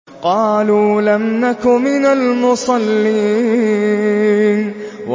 قَالُوا لَمْ نَكُ مِنَ الْمُصَلِّينَ